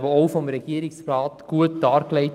Der Regierungsrat hat sie gut dargelegt.